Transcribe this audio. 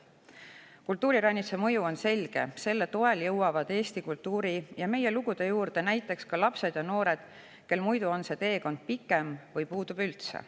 Kultuuriranitsa mõju on selge: selle toel jõuavad eesti kultuuri ja meie lugude juurde näiteks ka need lapsed ja noored, kel muidu on see teekond pikem või puudub üldse.